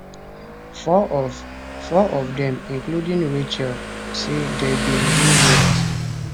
four of four of dem including rachel say dem bin dey raped